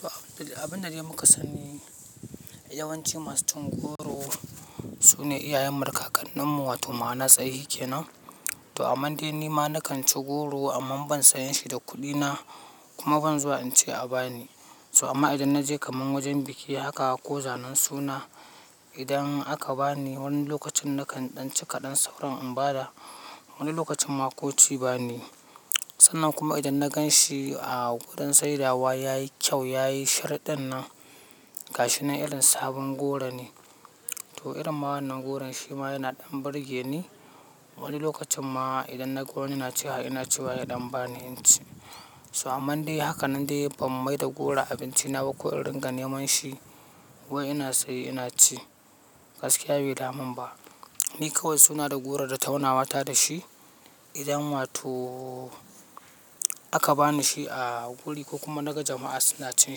To abin da dai muka sani yawanci masu cin goro su ne iyayenmu da kakanninmu wato mana tsahhi kenan. To aman dai ni ma na kan ci goro amma ban saya shi da kuɗina kuma ban zuwa in ce a bani. So amma idan na je kaman wajen biki haka ko zanen suna, idan aka bani wani lokacin na kan ɗan ci kaɗan sauran in ba da wani lokacin ma ko ci banayi. Sannan kuma idan na gan shi a wurin saidawa ya yi kyau, ya yi shar ɗin nan ga shi na irin sabon goro nan to irin wannan goron shi ma yana ɗan burge ni wani lokacin ma idan na ga wani yana ci haka ina cewa ya ɗan bani inci. So aman dai haka nan dai ban mai da goro abinci na ba ko in ringa neman shi wai ina saye ina ci gaskiya bai daman ba. Ni kawai suna da goro da taunawa ta da shi idan wato aka bani shi a guri ko kuma daga jama'a suna cin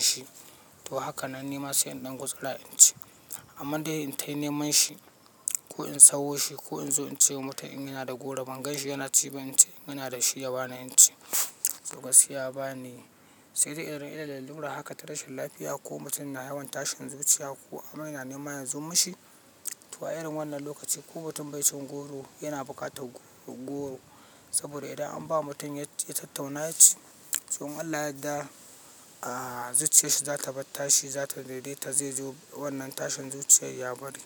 shi. To haka nan ni ma sai in ɗan gutsura inci. Aman dai in tahi neman shi ko in sauro shi ko in zo in ce wa mutum ina da goro ban gan shi yana ci ba inci inga na da shi ya bani inci. To gaskiya ya baniyi sai dai irin illar lalura haka ta rashin lafiya ko mutum na yawan tashin zuciya ko aman yana neman yanzu mashi. To a irin wannan lokaci ko mutum bai cin goro yana bukatar goro. Saboda idan an ba mutum ya tattauna ya ci, so in Allah ya zuciyarshi za ta bar tashi, za ta daidaita zai zo wannan tashin zuciya ya bari.